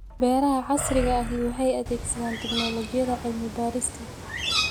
Beeraha casriga ahi waxay adeegsadaan tignoolajiyada cilmi-baadhista.